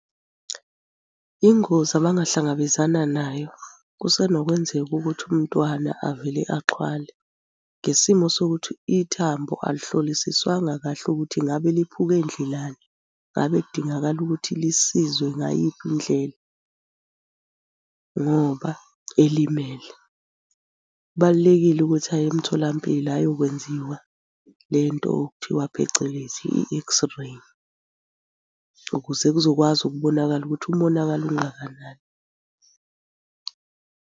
Ingozi abangahlangabezana nayo, kusenokwenzeka ukuthi umntwana avele axhwale ngesimo sokuthi ithambo alihlolisiswanga kahle ukuthi ngabe liphuke ndlelani. Ngabe kudingakala ukuthi lisizwe ngayiphi indlela, ngoba elimele? Kubalulekile ukuthi aye emtholampilo ayokwenziwa le nto okuthiwa phecelezi i-x-ray ukuze kuzokwazi ukubonakala ukuthi umonakalo ungakanani.